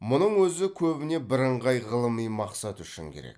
мұның өзі көбіне бірыңғай ғылыми мақсат үшін керек